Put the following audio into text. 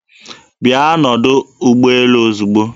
Bịa n'ọdọ ụgbọelu ozigbo!